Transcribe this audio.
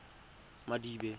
madibe